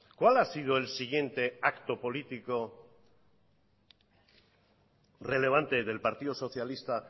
cuál ha sido el siguiente acto político relevante del partido socialista